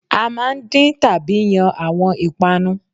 À máa ń din tàbí yan àwon ìpanu